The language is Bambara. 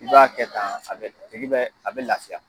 I b'a kɛ tan, a bɛ a tigi bɛ lafiya.